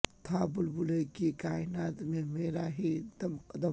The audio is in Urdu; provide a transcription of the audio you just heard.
تھا بلبلے کی کائنات میں مرا ہی دم قدم